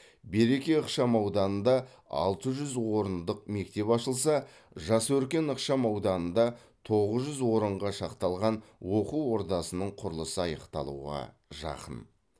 береке ықшам ауданында алты жүз орындық мектеп ашылса жас өркен ықшам ауданында тоғыз жүз орынға шақталған оқу ордасының құрылысы аяқталуға жақын